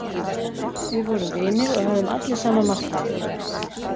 Við vorum vinir og höfðum allir sama markmiðið.